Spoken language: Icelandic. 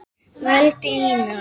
vældi Ína.